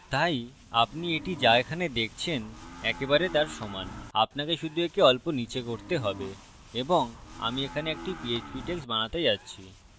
তাই আপনি এটি so এখানে দেখছেন একেবারে তার সমান আপনাকে শুধু একে অল্প নীচে করতে have এবং আমি এখানে একটি php text বানাতে যাচ্ছি